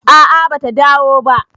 a a bata dawo ba